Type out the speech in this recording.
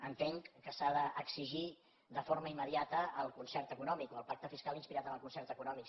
entenc que s’ha d’exigir de forma immediata el concert econòmic o el pacte fiscal inspirat en el concert econòmic